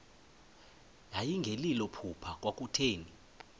yayingelilo phupha kwakutheni